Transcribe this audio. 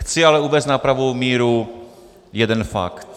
Chci ale uvést na pravou míru jeden fakt.